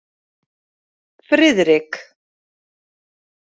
Friðrik